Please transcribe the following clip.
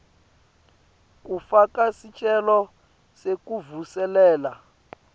kufaka sicelo sekuvuselela